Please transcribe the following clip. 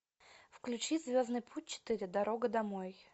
включи звездный путь четыре дорога домой